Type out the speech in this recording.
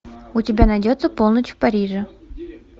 у тебя найдется полночь в париже